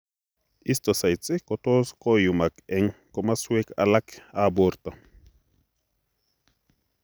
Histiocytes kotot koiyumak eng' komoswek alak ab boorto